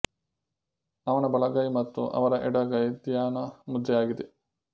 ಅವನ ಬಲಗೈ ಮತ್ತು ಅವರ ಎಡಗೈ ಧ್ಯಾನ ಮುದ್ರೆ ಆಗಿದೆ